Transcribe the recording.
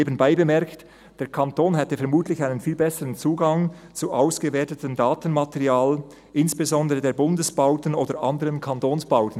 Nebenbei bemerkt, der Kanton hätte vermutlich einen viel besseren Zugang zu ausgewertetem Datenmaterial, insbesondere bezüglich der Bundesbauten oder anderer Kantonsbauten.